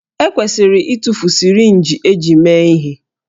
E kwesịrị ịtụfu sirinji eji mee ihe